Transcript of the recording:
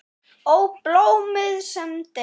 Ó, blóm sem deyið!